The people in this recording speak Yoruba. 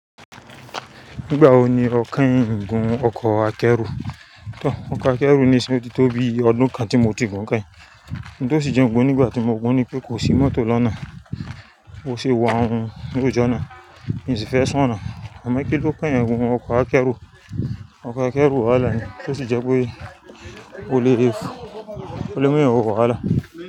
Nígbà wo ni ọ kẹ́yìn gun ọkọ̀ akẹ́rù? Tọ, ọkọ̀ akẹ́rù nisin yi o ti tó bí ọdún kan tí mo ti gun kẹ́yìn. N tó sì jẹ́ ń gun nígbà tí mo gun ni pé kò sí mọ́tò lọ́nà, mo si wa loju ọ̀nà, n si fee sun oná. Amo kíló kàn yan pẹ̀lú ọkọ̀ akẹ́rù? Ọkọ̀ akẹ́rù wàhálà ni, tó sì jẹ́ pé ó lè, ó le mú eeyan wo wàhálà.